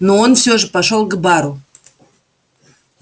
но он все же пошёл к бару